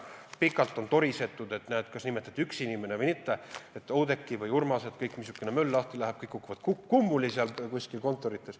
Pikalt on torisetud, et näed, kas nimetati üks inimene või mitte, Oudekki või Urmas, missugune möll lahti läheb, kõik kukuvad kontorites kummuli.